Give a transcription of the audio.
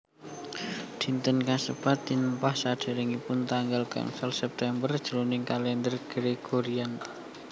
Dinten kasebat tinempah saderengipun tanggal gangsal September jroning kalender Gregorian